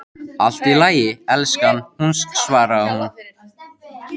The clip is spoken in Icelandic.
Allt í lagi, elskan, svaraði hún.